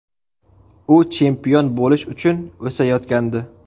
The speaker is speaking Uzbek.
U chempion bo‘lish uchun o‘sayotgandi.